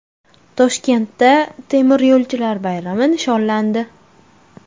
Toshkentda temiryo‘lchilar bayrami nishonlandi.